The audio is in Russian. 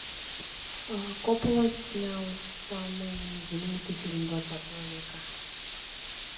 коппола снял самый знаменитый фильм двадцатого века